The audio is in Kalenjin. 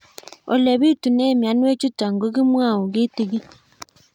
Ole pitune mionwek chutok ko kimwau kitig'ín